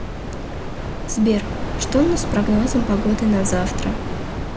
сбер что у нас с прогнозом погоды на завтра